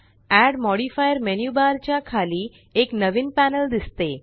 add modifier menu bar च्या खाली एक नवीन पॅनल दिसते